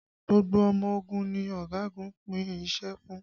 Gbogbo ọmọ ogun ni ọ̀gagun pín iṣẹ́ fún